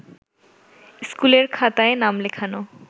ইস্কুলের খাতায় নাম লেখানো